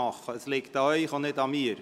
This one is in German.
Das liegt an Ihnen, nicht an mir.